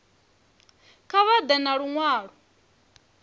kha vha ḓe na luṅwalo